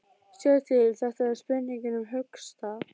Sjáðu til, þetta er spurning um höggstað.